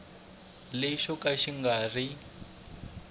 lexo ka xi nga ri